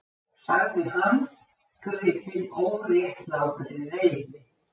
sagði hann, gripinn óréttlátri reiði.